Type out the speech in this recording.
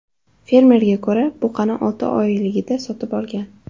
Fermerga ko‘ra, buqani olti oyligida sotib olgan.